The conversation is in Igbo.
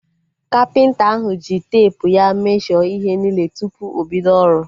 Kapịnta ahu ji teepu ya mesho ihe niile tupu obido ọrụ